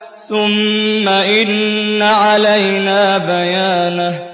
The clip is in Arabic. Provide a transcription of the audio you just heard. ثُمَّ إِنَّ عَلَيْنَا بَيَانَهُ